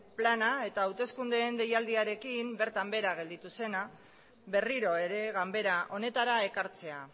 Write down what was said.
plana eta hauteskundeen deialdiarekin bertan behera gelditu zena berriro ere ganbera honetara ekartzea